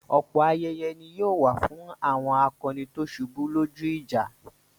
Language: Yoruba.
Ọ̀pọ̀ ayẹyẹ ni yóò wà fún àwọn akọni tó ṣubú lójú ìjà.